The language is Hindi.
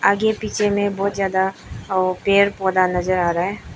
आगे पीछे में बहोत ज्यादा अ पेड़ पौधा नजर आ रहा है।